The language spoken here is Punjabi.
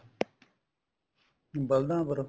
ਬਲਦਾਂ ਪਰ